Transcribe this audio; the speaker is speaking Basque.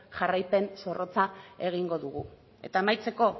jarraipen zorrotza egingo dugu eta amaitzeko